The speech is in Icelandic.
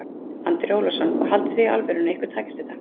Andri Ólafsson: Og haldið þið í alvörunni að ykkur takist þetta?